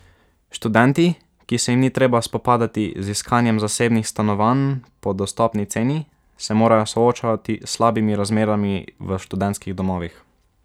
Študenti, ki se jim ni treba spopadati z iskanjem zasebnih stanovanj po dostopni ceni, se morajo soočati s slabimi razmerami v študentskih domovih.